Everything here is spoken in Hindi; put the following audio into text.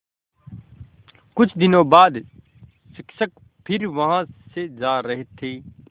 कुछ दिनों बाद शिक्षक फिर वहाँ से जा रहे थे